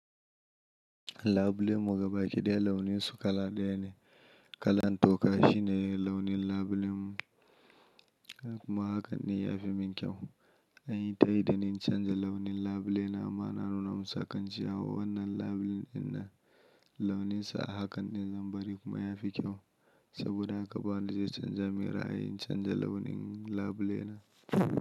Labule mu gabaki ɗaya launin su kala ɗaya ne. Kalan toka shine launin labule mu kuma haka ne ya fi min kyau. An yi ta yi da ni in canza launin labule na. Ma'ana rona musa kan ce wa wannan labule na launinsa a haka ne zan bari kuma ya fi kyau. Saboda haka ba wanda zai canza min ra'ayi in canza launin labule na.